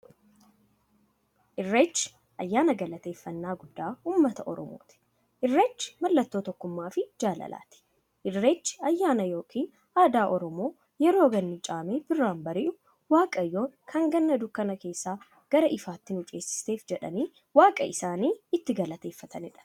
Irreechi ayyaana galateeffnnaa guddaa ummata oromooti. Irreechi mallattoo tokkummaafi jaalalaati. Irreechi ayyaana yookiin aadaa Oromoo yeroo ganni caamee birraan bari'u, waaqayyoon kan Ganna dukkana keessaa gara ifaatti waan nu ceesifteef jedhanii waaqa itti galateeffataniidha.